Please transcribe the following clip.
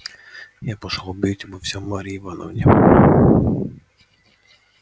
я пошёл объявить обо всем марье ивановне